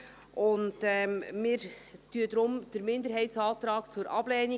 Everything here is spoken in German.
Wir empfehlen deshalb den Minderheitsantrag zur Ablehnung.